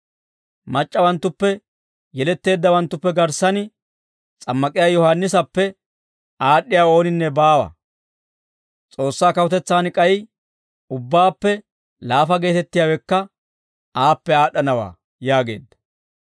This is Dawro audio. Mac'c'awanttuppe yeletteeddawanttu garssan s'ammak'iyaa Yohaannisappe aad'd'iyaa ooninne baawa. S'oossaa kawutetsaan k'ay ubbaappe laafa geetettiyaawekka aappe aad'd'anawaa» yaageedda.